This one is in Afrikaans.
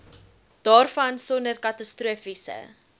daarvan sonder katastrofiese